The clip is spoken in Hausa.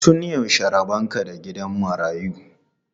Tun yaushe rabon ka da gidan marayu?